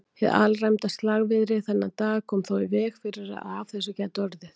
Hið alræmda slagviðri þennan dag kom þó í veg fyrir að af þessu gæti orðið.